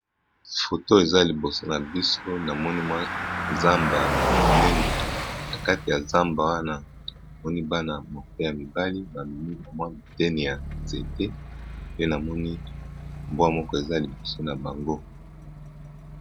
Foto eza liboso na biso na moni mwa zamba monene, na kati ya zamba wana moni bana moke ya mibale ba memi mwa tene ya nzete pe namoni mbwa moko eza liboso na bango.